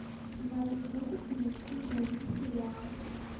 двадцать фунтов перевести в бразильские реалы